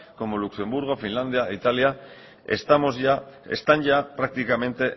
como luxemburgo finlandia italia están ya prácticamente